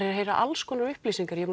að heyra alls konar upplýsingar ég